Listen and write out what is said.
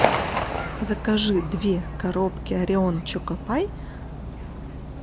закажи две коробки орион чокопай